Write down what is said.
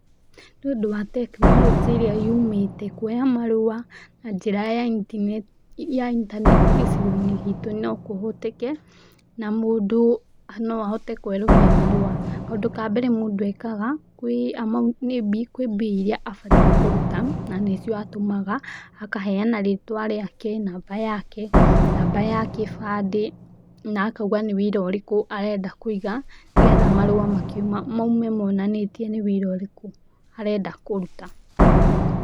Nĩ ũndũ wa tekinoronjĩ ĩrĩa yumĩte, kuoya marũa na njĩra ya intaneti gĩcigo-inĩ gitũ no kũhoteke na mũndũ no ahote kũerũhia marũa. Kaũndũ ka mbere mũndũ ekaga, kwĩ amaũn, kwĩ mbia iria abatiĩ kũruta na nĩcio atũmaga, akaheana rĩtwa rĩake, namba yake, namba ya kĩbandĩ na akauga nĩ wĩra ũrĩkũ arenda kũiga nĩgetha marũa makiuma maume monanĩtie nĩ wĩra ũrĩkũ arenda kũruta.